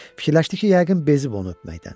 Fikirləşdi ki, yəqin bezib onu öpməkdən.